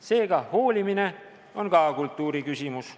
Seega, hoolimine on kultuuri küsimus.